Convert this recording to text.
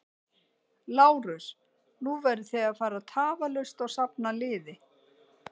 LÁRUS: Nú verðið þið að fara tafarlaust og safna liði.